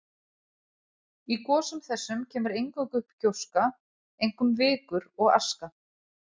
Í gosum þessum kemur eingöngu upp gjóska, einkum vikur og aska.